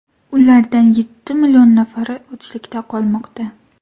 Ulardan yetti million nafari ochlikda qolmoqda.